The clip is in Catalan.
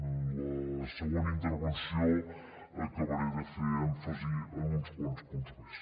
en la següent intervenció acabaré de fer èmfasi en uns quants punts més